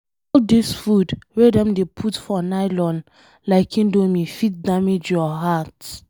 All dis food wey dem dey put for nylon like indomie fit damage your heart